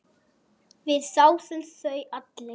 Við þáðum þau allir.